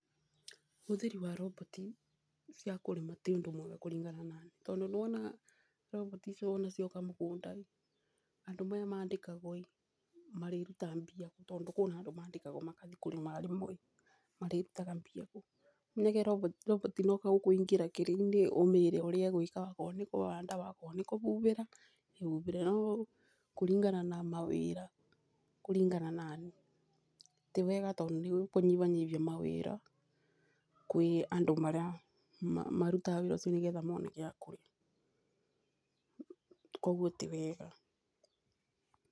Ũhũthri wa roboti ya kũĩrma ti ũndũ mwega kũringana na ni tondũ nĩ wonaga roboti iciuo tondũ cioka mũgũnda andũ maya mandĩkagwo ĩ marĩrutaga mbia kũ. Tondũ kwĩna andũ mandĩkagwo magathi kũrĩma rĩmwe marĩrutaga mbia kũ. Roboti no kũingĩrea ũmĩre ũrĩa ũrenda okorwo nĩ kũbanda okorwo nĩ kũbubĩra ĩbubĩre. No kũringana na mawĩra kũringana na niĩ ti wega tondũ nĩ gũ kũnyibanyibia mawĩra kwĩ andũ marĩa marutaga wĩra ũcio nĩ getha mone gĩakũrĩa koguo ti wega.